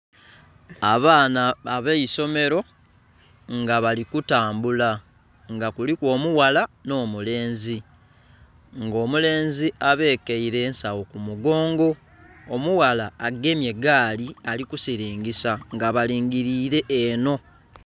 Abaana ab'eisomero nga bali kutambula nga kuliku omughala nh'omulenzi nga omulenzi abekeire ensagho ku mugongo, omughala agemye egaali ali kusilingisa nga balingilire enho.